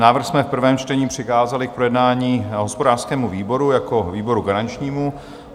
Návrh jsme v prvém čtení přikázali k projednání hospodářskému výboru jako výboru garančnímu.